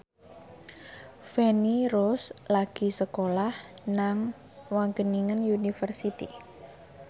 Feni Rose lagi sekolah nang Wageningen University